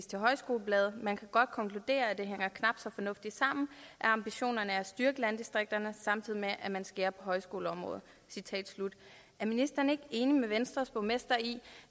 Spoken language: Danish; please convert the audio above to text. til højskolebladet man kan godt konkludere at det hænger knap så fornuftigt sammen at ambitionerne er at styrke landdistrikterne samtidig med at man skærer på højskoleområdet er ministeren ikke enig med venstres borgmester i